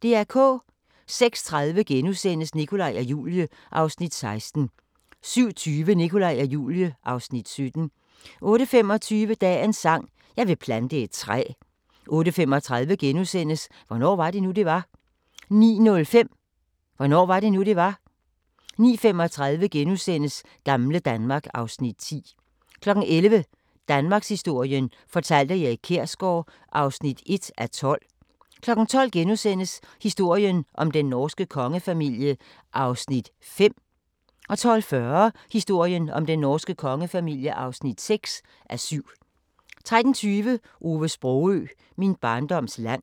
06:30: Nikolaj og Julie (Afs. 16)* 07:20: Nikolaj og Julie (Afs. 17) 08:25: Dagens sang: Jeg vil plante et træ 08:35: Hvornår var det nu det var * 09:05: Hvornår var det nu, det var? 09:35: Gamle Danmark (Afs. 10)* 11:00: Danmarkshistorien fortalt af Erik Kjersgaard (1:12) 12:00: Historien om den norske kongefamilie (5:7)* 12:40: Historien om den norske kongefamilie (6:7) 13:20: Ove Sprogøe – Min barndoms land